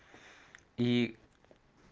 и